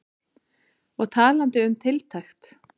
Og talandi um tiltekt.